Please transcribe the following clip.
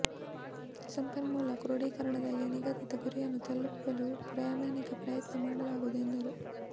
ಸಂಪನ್ಮೂಲ ಕ್ರೋಡಿಕರಣದಲ್ಲಿ ನಿಗದಿತ ಗುರಿಯನ್ನು ತಲುಪಲು ಪ್ರಾಮಾಣಿಕ ಪ್ರಯತ್ನ ಮಾಡಲಾಗುವುದು ಎಂದರು